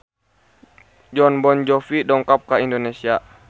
Jon Bon Jovi dongkap ka Indonesia